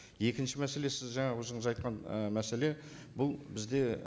екінші мәселе сіз жаңа өзіңіз айтқан і мәселе бұл бізде